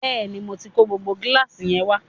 Bẹ́ẹ̀ni, mo tí kó gbogbo gíláàsì yẹn wá